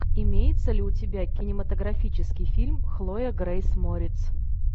имеется ли у тебя кинематографический фильм хлоя грейс морец